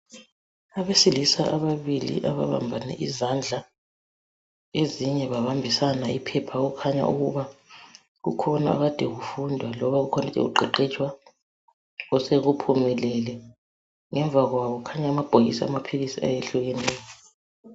,Abesilisa ababili, ababambane izandla. Ezinye babambisana iphepha, . Okukhanya , ukuthi kukhona akade kufundwa, kumbe kukhona okukade kuqeqetshwa, ,osekuphumelele . Ngemva kwabo, kukhanya amabhokisi amaphilisi ayehlukeneyo.